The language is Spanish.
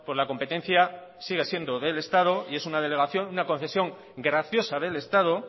la competencia sigue siendo del estado y es una delegación una concesión graciosa del estado